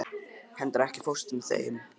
Kendra, ekki fórstu með þeim?